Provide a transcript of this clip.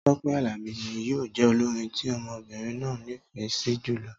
Tọ́pẹ́ Àlàbí ni yíò jẹ olórin tí ọmọbìrin náà ní ìfẹ sí jùlọ